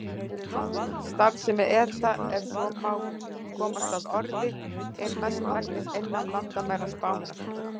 Starfsemi ETA, ef svo má komast að orði, er mestmegnis innan landamæra Spánar.